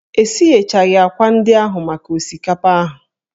E sighechaghị ákwà ndị ahụ maka osikapa ahụ.